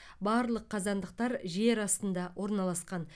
барлық қазандықтар жер астында орналасқан